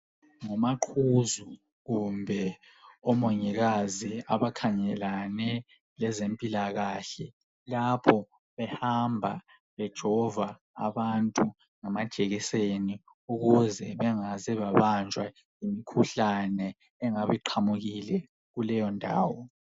Ngumaqhuzu kumbe omongikazi abakhangelane lezempilakahle lapho behamba bejova abantu ngamajekiseni ukuze bengaze babanjwa yimikhuhlane engabe iqhamukile kuleyo ndawo.